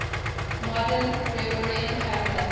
modern gregorian calendar